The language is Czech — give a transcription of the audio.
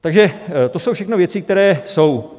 Takže to jsou všechno věci, které jsou.